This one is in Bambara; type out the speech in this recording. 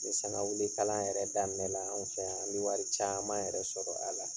Ni sangawili kala yɛrɛ daminɛ la, an fɛ yan, an bi wari caman yɛrɛ sɔrɔ a la.